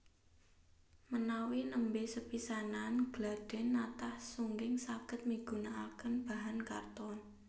Menawi nembé sepisanan gladhèn natah sungging saged migunakaken bahan karton